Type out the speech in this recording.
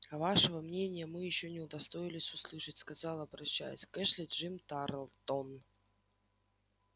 а вашего мнения мы ещё не удостоились услышать сказал обращаясь к эшли джим тарлтон